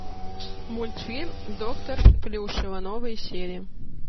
мультфильм доктор плюшева новые серии